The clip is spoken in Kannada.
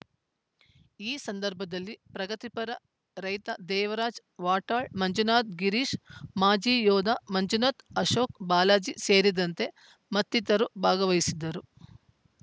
ಈ ಸಂದರ್ಭದಲ್ಲಿ ಪ್ರಗತಿಪರ ರೈತ ದೇವರಾಜ್‌ ವಾಟಾಳ್‌ ಮಂಜುನಾಥ್‌ ಗಿರೀಶ್‌ ಮಾಜಿ ಯೋಧ ಮಂಜುನಾಥ್‌ ಅಶೋಕ್‌ ಬಾಲಾಜಿ ಸೇರಿದಂತೆ ಮತ್ತಿತರರು ಭಾಗವಹಿಸಿದ್ದರು